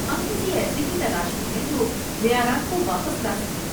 ہم کسی ایسے کی تلاش میں ہیں جو معیارات کو واپس لا سکے۔